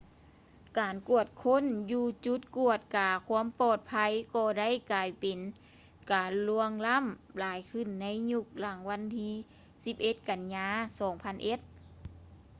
ການກວດຄົ້ນຢູ່ຈຸດກວດກາຄວາມປອດໄພ ກໍໄດ້ກາຍເປັນການລ່ວງລ້ຳຫຼາຍຂຶ້ນໃນຍຸກຫຼັງວັນທີ 11 ກັນຍາ 2001